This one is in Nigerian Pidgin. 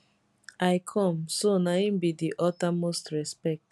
i come so na im be di uttermost respect